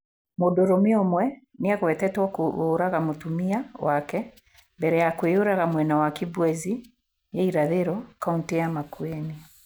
Mũndũrũme ũmwe nĩ agwetetwo kũũraga mũtumia wake mbere ya kwĩyũraga mwena wa Kibwezi ta irathĩro, kaũntĩ ya Makueni.